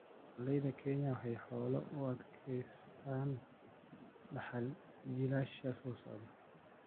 Dhaqanleyda Kenya waxay xoolaha u adeegsadaan dhaxal jiilasha soo socda.